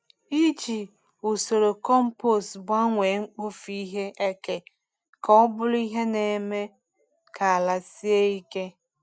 Iji usoro compost gbanwee mkpofu ihe eke ka ọ bụrụ ihe na-eme ka ala sie ike.